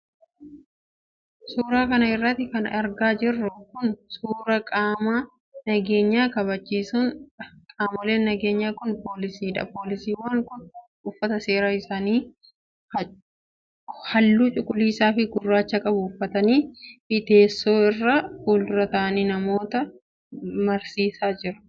Suura kana irratti kan argaa jirru kun, suura qaama nageenya kabajsiisanii dha. Qaamoleen nageenyaa kun, poolisiidha. Poolisiiwwan kun, uffata seeraa isaanii haalluu cuquliisaa fi gurraacha qabu uffatanii fi teessoo irra fuuldura ta'anii namoota mariisisaa jiru.